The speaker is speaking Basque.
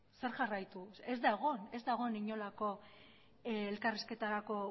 zer jarraitu ez da egon ez da egon inolako elkarrizketarako